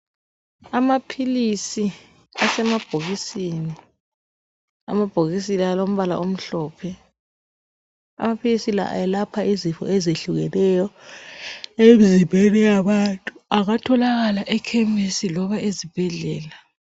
Amaphilisi asemabhokisini, amabhokisi la alombala omhlophe, amaphilisi la ayelapha izifo ezehlukeneyo emzimbeni yabantu. Angatholakala ekhemisi loba ezibhedlela.